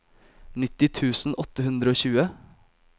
nitti tusen åtte hundre og tjue